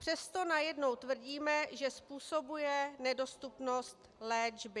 Přesto najednou tvrdíme, že způsobuje nedostupnost léčby.